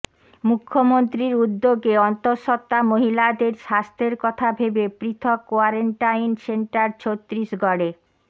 মুখ্যমন্ত্রীর উদ্যোগে অন্তঃসত্বা মহিলাদের স্বাস্থ্যের কথা ভেবে পৃথক কোয়ারেন্টাইন সেন্টার ছত্তিশগঢ়ে